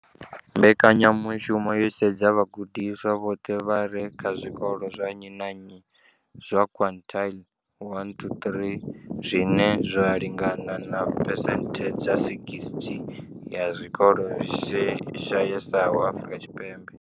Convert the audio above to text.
Mbekanyamushumo yo sedza vhagudiswa vhoṱhe vha re kha zwikolo zwa nnyi na nnyi zwa quintile 1 to 3, zwine zwa lingana na phesenthe dza 60 ya zwikolo zwi shayesaho Afrika Tshipembe.